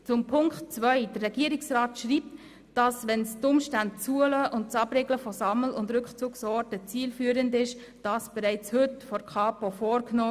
Zu Punkt 2: Der Regierungsrat schreibt: «Wenn es die Umstände zulassen und das Abriegeln von Sammel- und Rückzugsorten zielführend ist, wird dies bereits heute von der Kantonspolizei vorgenommen.